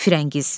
Firəngiz.